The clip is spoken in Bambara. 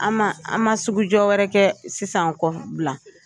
An man an man sugujɔ wɛrɛ kɛ sisan kɔ Bilan.